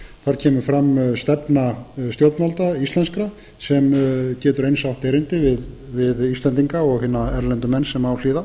þar kemur fram stefna stjórnvalda íslenskra sem getur eins átt erindi við íslendinga og hina erlendu menn sem á hlýða